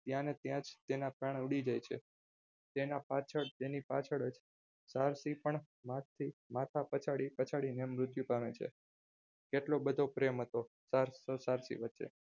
ત્યારે ત્યાં જ તેના પ્રાણ ઊડી જાય છે તેના પાછળ તેની પાછળ જ માસથી માથા પછાડી પછાડીને મૃત્યુ પામે છે એટલો બધો પ્રેમ હતો સાચી વાત છે.